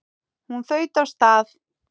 Hún þaut af stað.